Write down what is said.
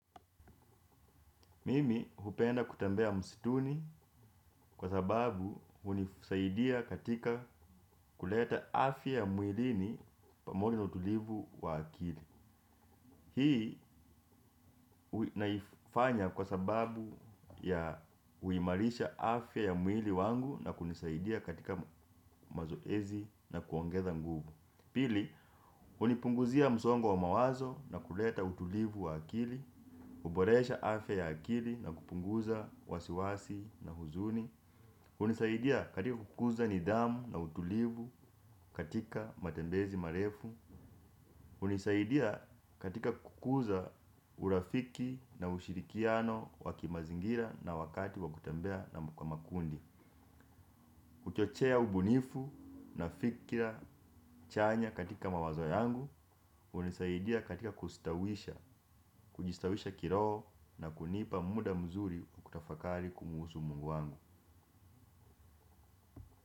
Mimi hupenda kutembea msituni kwa sababu hunisaidia katika kuleta afya ya mwilini pamoja na utulivu wa akili. Hii ninaifanya kwa sababu ya kuimarisha afya ya mwili wangu na kunisaidia katika mazoezi na kuongeza nguvu. Pili, hunipunguzia msongo wa mawazo na kuleta utulivu wa akili, kuboresha afya ya akili na kupunguza wasiwasi na huzuni. Hunisaidia katika kukuza nidhamu na utulivu katika matembezi marefu. Hunisaidia katika kukuza urafiki na ushirikiano wa kimazingira na wakati wa kutembea na makundi. Huchochea ubunifu na fikira chanya katika mawazo yangu. Hunisaidia katika kustawisha, kujistawisha kiroho na kunipa muda mzuri wa kutafakari kumhusu Mungu wangu.